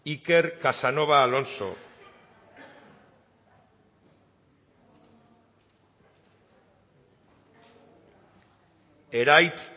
iker casanova alonso eraitz